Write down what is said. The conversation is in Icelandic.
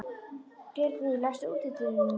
Geirný, læstu útidyrunum.